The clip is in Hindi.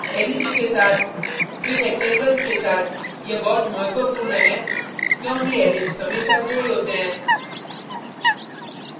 ellipse के साथ फिर rectangles के साथ यह बहुत महत्वपूर्ण है क्योंकि ellipse हमेशा गोल होते हैं